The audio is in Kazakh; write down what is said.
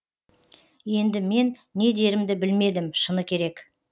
енді мен не дерімді білмедім шыны керек